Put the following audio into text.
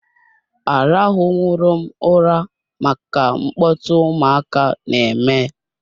Arahu nwurom ụra maka mkpọtụ ụmụaka na-eme.